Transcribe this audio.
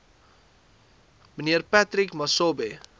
mnr patrick masobe